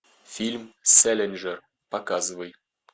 фильм сэлинджер показывай